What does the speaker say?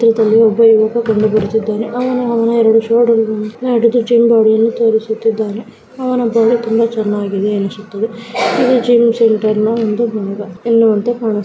ಚಿತ್ರದಲ್ಲಿ ಒಬ್ಬ ಯುವಕ ಕಂಡುಬರುತ್ತಿದ್ದಾನೆ ಅವನು ಅವನ ಈರದು ಶೋಲ್ಡರ್ಗಳನ್ನು ಹಿಡಿದು ಜಿಮ್ ಬೋಡಿಯನ್ನು ತೋರಿಸುತ್ತಿದ್ದಾನೆ ಅವನ ಬಾಡಿ ತುಂಬಾ ಚೆನ್ನಾಗಿದೆ ಅನಿಸುತ್ತದೆ ಇದು ಜಿಮ್ ಸೆಂಟರನ ಒಂದು ಭಾಗ ಎನ್ನುವಂತೆ ಕಾಣಿಸುತ್ತದೆ.